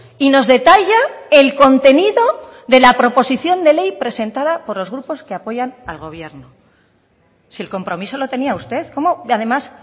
y nos detalla el contenido de la proposición de ley presentada por los grupos que apoyan al gobierno si el compromiso lo tenía usted cómo además